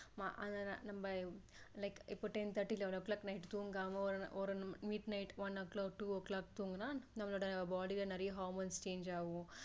அது நம்ம like இப்ப ten thirty eleven o clock night தூங்காம mid night one o clock two o clock தூங்குனா நம்மளோட body ல நிறைய hormones change ஆகும்